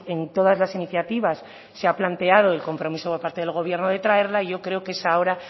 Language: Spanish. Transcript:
en todas las iniciativas se ha planteado el compromiso por parte del gobierno de traerla y yo creo que es ahora